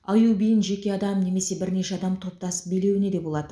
аю биін жеке адам немесе бірнеше адам топтасып билеуіне де болады